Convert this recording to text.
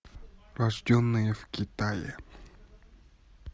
рожденные в китае